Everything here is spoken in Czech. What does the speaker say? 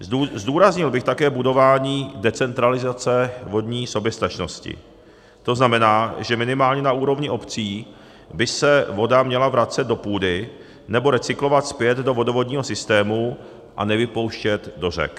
Zdůraznil bych také budování decentralizace vodní soběstačnosti, to znamená, že minimálně na úrovni obcí by se voda měla vracet do půdy nebo recyklovat zpět do vodovodního systému a nevypouštět do řek.